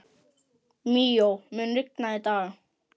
Míó, mun rigna í dag?